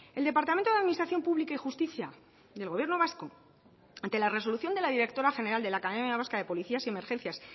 el departamento de administración pública y justicia del gobierno vasco ante la resolución de la directora general de la academia vasca de policías y emergencias